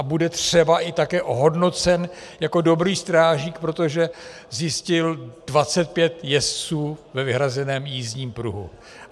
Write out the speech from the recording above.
A bude třeba i také ohodnocen jako dobrý strážník, protože zjistil 25 jezdců ve vyhrazeném jízdním pruhu.